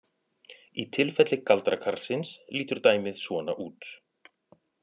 Í tilfelli galdrakarlsins lítur dæmið svona út: